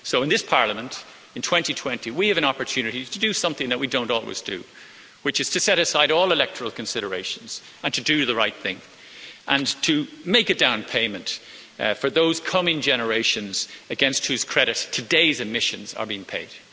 So, in this Parliament, in 2020, we have an opportunity to do something that we don't always do, which is to set aside all electoral considerations and do the right thing, and make a down payment for those coming generations against whose credit today's emissions are being paid.